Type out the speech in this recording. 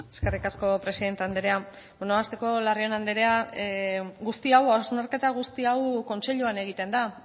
eskerrik asko presidente andrea hasteko larrion andrea guzti hau hausnarketa guzti hau kontseiluan egiten da